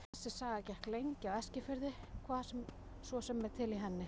Þessi saga gekk lengi á Eskifirði, hvað svo sem er til í henni.